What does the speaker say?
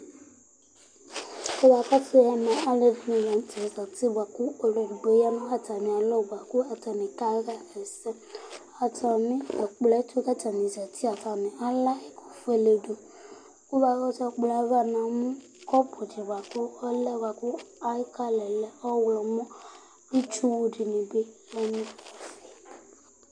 Kʋ akɔsu ɛmɛ, alʋɛdìní la ntɛ zɛti bʋakʋ ɔlu ɛdigbo ya nu atami alɔ bʋakʋ atani kaɣa ɛsɛ Aza nu ɛkplɔ tu kʋ atani zɛti Atani alɛ ɛkʋ fʋele du Kʋ akɔsu ɛkplɔ yɛ ava mɛ yamu kɔpu di bʋakʋ ɔlɛ bʋakʋ ɛfʋ zɛ aɣla yɛ lɛ ɔwlɔmɔ Itsu wu dìní bi du ayìlí